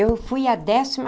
Eu fui a décima